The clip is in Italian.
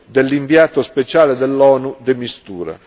dell'inviato speciale dell'ONU de Mistura.